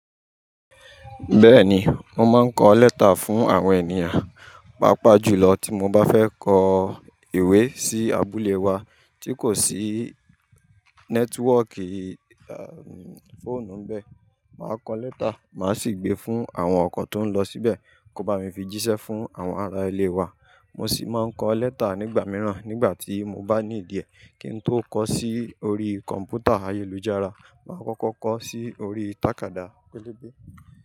Bẹ́ẹ̀ni, mo máa ń kọ lẹ́tà fún àwọn ènìyàn, pàápàá jùlọ tí mo bá fẹ́ kọ ìwé sí abúlé wa tí kò sí nẹ́tíwọ́ọ̀kì fóònù bẹ́ẹ̀, màá kọ lẹ́tà, màá sì gbé fún àwọn ọkọ̀ tó ń lọ síbẹ̀ kó bá mi fi jíṣẹ́ fún àwọn ará ilé wa. Mo sì máa ń kọ lẹ́tà nígbà mìíràn nígbà tí mo bá ní ìdíẹ̀ kí n tó kọ sí orí kọ̀m̀pútà ayélujára, màá kọ́kọ́ kọ sí orí tàkádá pẹ́lẹ́bẹ́